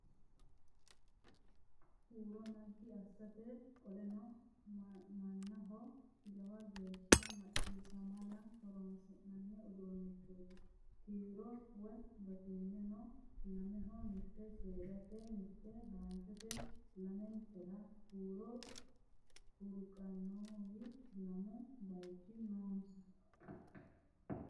Huuro naggi assate qoleno mannaho jawa geeshsha maxxiishshamara horoonsi'nanni uduunnichooti .kiiro woy batinyisino lameho mitte seedate mitte haranchote lamentera huuro fultqnnowi lamu baycho noonsa.